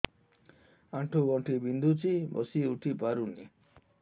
ଆଣ୍ଠୁ ଗଣ୍ଠି ବିନ୍ଧୁଛି ବସିଉଠି ପାରୁନି